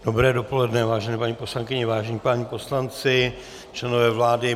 Dobré dopoledne, vážené paní poslankyně, vážení páni poslanci, členové vlády.